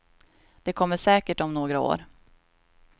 Det kommer säkert om några år.